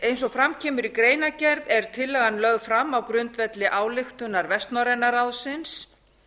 eins og fram kemur í greinargerð er tillagan lögð fram á grundvelli ályktunar vestnorræna ráðsins